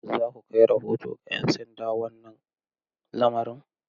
Za ku kai rahoto ga 'yan sanda wannan lamarin?